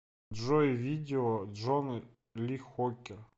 джой видео джон ли хукер